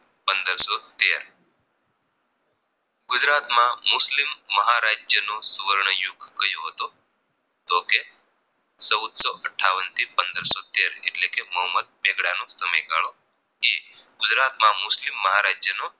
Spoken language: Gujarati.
ગુજરાતમાં મુસ્લિમ મહારાજ્ય નો સુવર્ણ યુગ કયો હતો તો કે ચૌદસો અઠાવન થી પંદરસો તેર એટલે કે મોહમ્મદ બેગડા નો સમય ગાળો એ ગુજરાત માં મુસ્લિમ મહારાજ્યનો